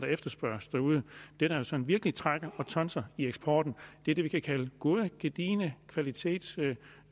efterspørges derude det der sådan virkelig trækker og tonser i eksporten er det vi kan kalde gode gedigne kvalitet det